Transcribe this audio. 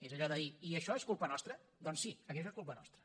és allò de dir i això és culpa nostra doncs sí aquí això és culpa nostra